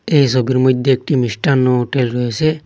এই সবির মইদ্যে একটি মিষ্টান্ন হোটেল রয়েসে।